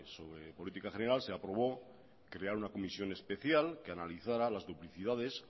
sobre política general se aprobó crear una comisión especial que analizara las duplicidades